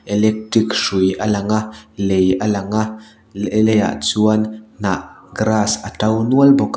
electric hrui a lang a lei a lang a le leiah chuan hnah grass a to nual bawk a.